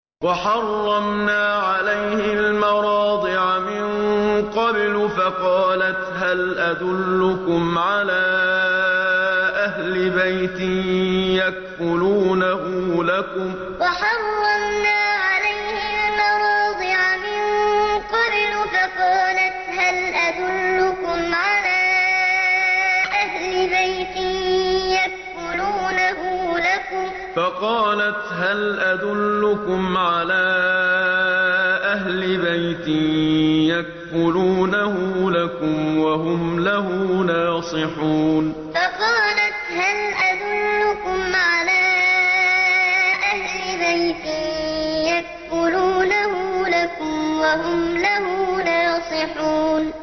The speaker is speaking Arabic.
۞ وَحَرَّمْنَا عَلَيْهِ الْمَرَاضِعَ مِن قَبْلُ فَقَالَتْ هَلْ أَدُلُّكُمْ عَلَىٰ أَهْلِ بَيْتٍ يَكْفُلُونَهُ لَكُمْ وَهُمْ لَهُ نَاصِحُونَ ۞ وَحَرَّمْنَا عَلَيْهِ الْمَرَاضِعَ مِن قَبْلُ فَقَالَتْ هَلْ أَدُلُّكُمْ عَلَىٰ أَهْلِ بَيْتٍ يَكْفُلُونَهُ لَكُمْ وَهُمْ لَهُ نَاصِحُونَ